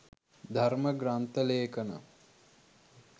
ධර්ම ග්‍රන්ථ ලේඛන